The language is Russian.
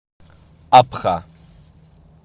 абха